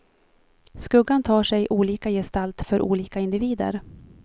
Skuggan tar sig olika gestalt för olika individer.